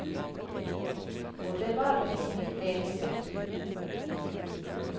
Og det var vel ikke nytt det heller.